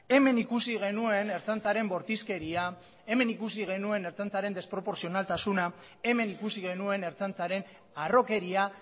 hemen ikusi genuen ertzaintzaren bortizkeria hemen ikusi genuen ertzaintzaren desproportzionaltasuna hemen ikusi genuen ertzaintzaren harrokeria